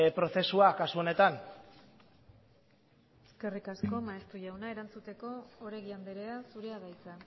prozesua kasu honetan eskerrik asko maeztu jauna erantzuteko oregi andrea zurea da hitza